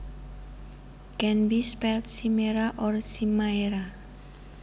Can be spelt chimera or chimaera